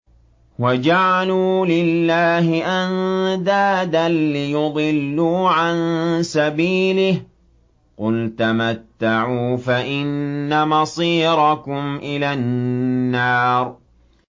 وَجَعَلُوا لِلَّهِ أَندَادًا لِّيُضِلُّوا عَن سَبِيلِهِ ۗ قُلْ تَمَتَّعُوا فَإِنَّ مَصِيرَكُمْ إِلَى النَّارِ